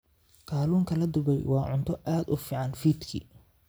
Kalluunka la dubay waa cunto aad u fiican fiidkii.